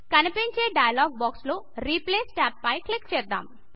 కనిపించే dialog box లో replace tab పై క్లిక్ చేద్దాం